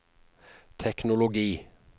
teknologi